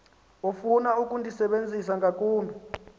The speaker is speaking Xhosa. ofuna ukundisebenzisa ngakumbi